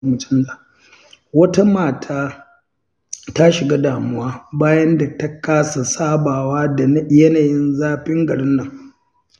Wata mata ta shiga damuwa bayan da ta kasa sabawa da yanyin zafin garinnan.